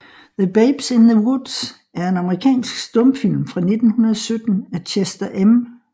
The Babes in the Woods er en amerikansk stumfilm fra 1917 af Chester M